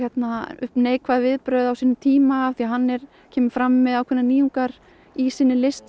upp neikvæð viðbrögð á sínum tíma af því að hann kemur fram með ákveðnar nýjungar í sinni list